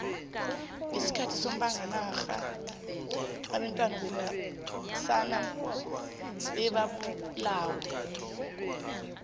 ngesikhathi somzabalazo obantwana babesana bebabulawa